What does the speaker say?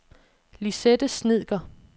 Lisette Snedker